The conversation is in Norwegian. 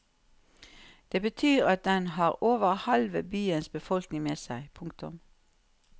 Det betyr at den har over halve byens befolkning med seg. punktum